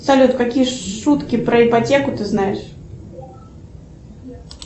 салют какие шутки про ипотеку ты знаешь